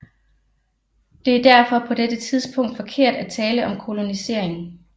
Det er derfor på dette tidspunkt forkert at tale om kolonisering